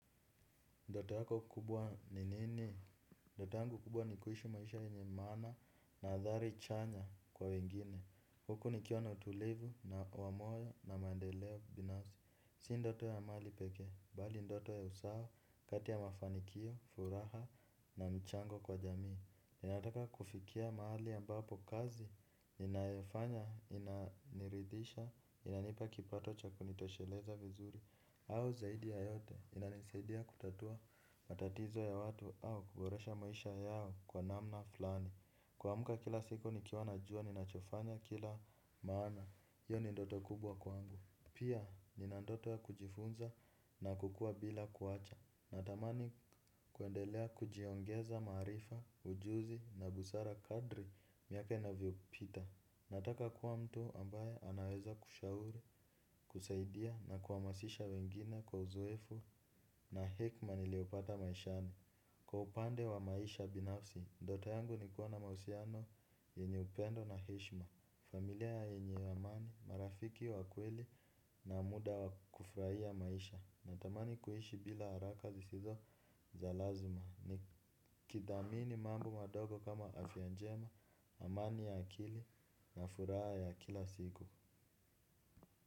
Ndoto yako kubwa ni nini? Ndoto yangu kubwa ni kuishi maisha yenye maana na adhari chanya kwa wengine. Huku nikiwa na utulivu na wa moyo na mandeleo binafsi. Si ndoto ya mali pekee. Bali ndoto ya usawa kati ya mafanikio, furaha na mchango kwa jamii. Ninataka kufikia mahali ambapo kazi. Ninayofanya, inaniridhisha, inanipa kipato cha kunitosheleza vizuri. Au zaidi ya yote inanisaidia kutatua matatizo ya watu au kuboresha maisha yao kwa namna fulani. Kumka kila siku nikiwa najua ninachofanya kila maana, hiyo ni ndoto kubwa kwangu. Pia nina ndoto ya kujifunza na kukua bila kuacha. Natamani kuendelea kujiongeza maaifa, ujuzi na busara kadri miaka inavyopita. Nataka kuwa mtu ambaye anaweza kushauri, kusaidia na kuhamasisha wengine kwa uzoefu na hekma niliopata maishani. Kwa upande wa maisha binafsi, ndoto yangu inakuwa na mahusiano, yenye upendo na heshma, familia yenye amani, marafiki wa kweli na muda wakufurahia maisha. Natamani kuishi bila haraka zisizo za lazima. Nikithamini mambo madogo kama afya njema amani ya akili na furaha ya kila siku.